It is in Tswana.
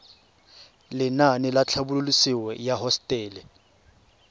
lenaane la tlhabololosewa ya hosetele